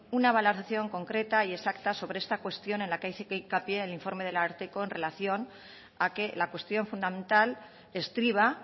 una valoración concreta y exacta sobre esta cuestión en la que hay sí se hace hincapié sobre el informe del ararteko en relación a que la cuestión fundamental estriba